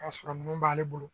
Ka sɔrɔ ninnu b'ale bolo